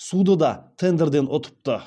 суды да тендерден ұтыпты